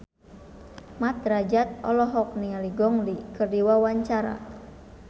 Mat Drajat olohok ningali Gong Li keur diwawancara